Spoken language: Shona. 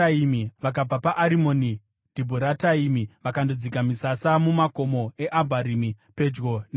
Vakabva paArimoni Dhibhurataimi vakandodzika misasa mumakomo eAbharimi, pedyo neNebho.